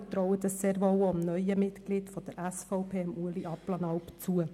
Wir trauen dies sehr wohl auch dem neuen Mitglied der SVP, Ueli Abplanalp, zu.